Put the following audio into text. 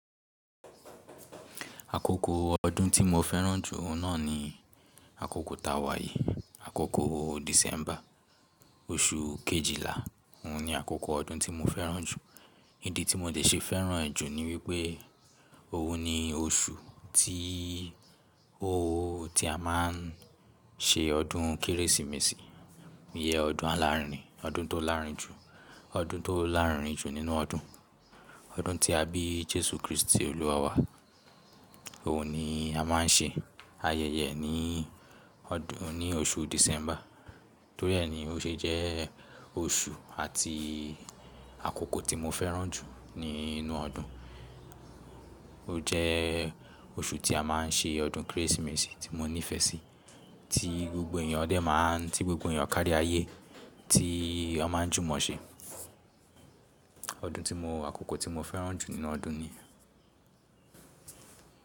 Àkókò ọdún tí mo fẹ́ràn jù oun náà ni àkókò tàwà yìí. Àkókò December, oṣù Kejìlá òun ni àkókò ọdún tí mo fẹ́ràn jù. Ídí tí mo dé ṣe fẹ́ràn ẹ jù ni wípé òun ni oṣù tí óóo tí a máa n ṣe ọdún Kérésìmesì, ìyẹ ọdún alárinrin, ọdún tó lárinrin jù, ọdún tó lárinrin jù nínú ọdún. Ọdún tí a bí Jésù Kristi olúwa wa. Òun ni a má n ṣe ayẹyẹ ní ọdún, ní oṣù December. Torí ẹ ni o ṣe jẹ́ oṣù àti àkókò tí mo fẹ́ràn jù nínú ọdún. Ó jẹ́ oṣù tí a má n ṣe ọdún Kérésìmesì tí mo nífẹ̀ẹ́ sí, tí gbogbo èèyàn dẹ má a n, tí gbogbo èèyàn kárí ayé tí a má n jùmọ̀ ṣe. Ọdún tí mo, àkókò tí mo fẹ́ràn jù nínú ọdún ni.